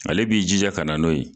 Ale b'i jija ka na n'o ye